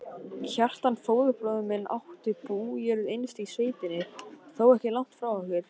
Kjartan, föðurbróðir minn, átti bújörð innst í sveitinni, þó ekki langt frá okkur.